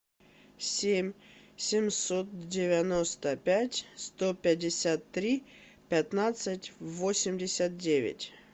семь семьсот девяносто пять сто пятьдесят три пятнадцать восемьдесят девять